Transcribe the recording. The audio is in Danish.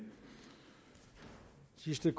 christian